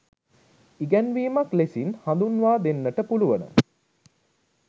ඉගැන්වීමක් ලෙසින් හඳුන්වා දෙන්නට පුළුවන.